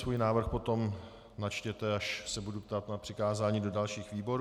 Svůj návrh potom načtěte, až se budu ptát na přikázání do dalších výborů.